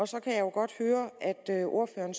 så kan jeg jo godt høre at ordføreren